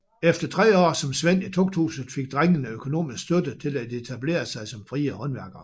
Efter tre år som svend i tugthuset fik drengene økonomisk støtte til at etablere sig som frie håndværkere